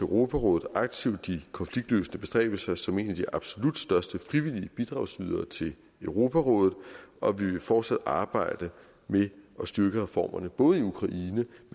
europarådet aktivt de konfliktløsende bestræbelser som en af de absolut største frivillige bidragsydere til europarådet og vi vil fortsat arbejde med at styrke reformerne både i ukraine